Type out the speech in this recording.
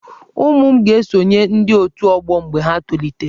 Ụmụ m ga-esonye ndị otù ọgbọ mgbe ha tolitere.